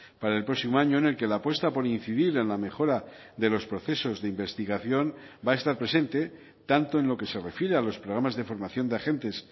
para el próximo año en el que la apuesta por incidir en la mejora de los procesos de investigación va a estar presente tanto en lo que se refiere a los programas de formación de agentes